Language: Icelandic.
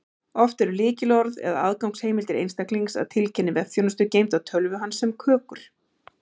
Oft eru lykilorð eða aðgangsheimildir einstaklings að tiltekinni vefþjónustu geymd á tölvu hans sem kökur.